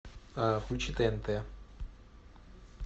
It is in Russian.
включи тнт